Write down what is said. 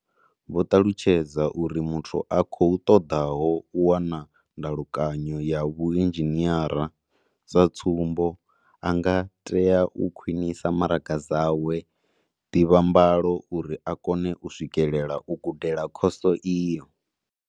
Vho ṱalutshedza uri muthu a khou ṱoḓaho u wana ndalukanyo ya vhuinzhiniara, sa tsumbo, a nga tea u khwiṋisa maraga dzawe dza ḓivhambalo uri a kone u swikelela u gudela khoso iyo.